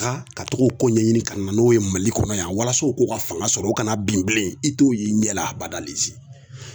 ka togo ko ɲɛɲini ka na n'o ye mali kɔnɔ yan walasa u k'u ka fanga sɔrɔ u kana bin i t'o ye i ɲɛ la a bada.